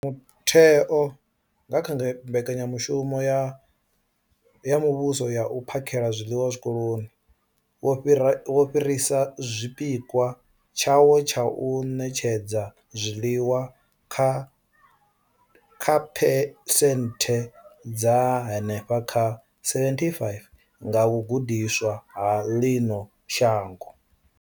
Mutheo, nga kha Mbekanya mushumo ya Muvhuso ya U phakhela zwiḽiwa Zwikoloni, wo fhirisa tshipikwa tshawo tsha u ṋetshedza zwiḽiwa kha phesenthe dza henefha kha 75 nga vhagudiswa ha ḽino shango.